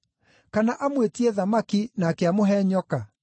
Kana amwĩtie thamaki nake amũhe nyoka?